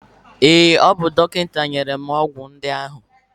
Ee, o bu dọkịta nyere ọgwụ ndị ahụ.